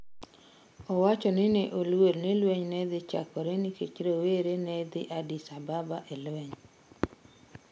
Owacho ni ne oluor ni lweny ne nyalo chakore nikech rowere ne dhi Addis Ababa e lweny.